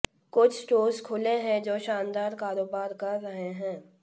कुछ स्टोर्स खुले हैं जो शानदार कारोबार कर रहे हैं